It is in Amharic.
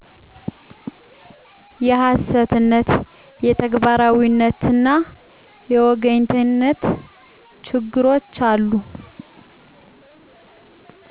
የሀሰትነት; የተግባራዉይነትና የወገኝተኝነት ችግሮች አሉ።